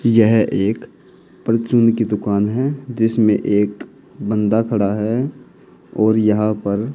यह एक की दुकान है जिसमें एक बंदा खड़ा है और यहां पर--